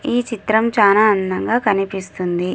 ఈ చిత్రం చానా అందం గా కనిపిస్తుంది.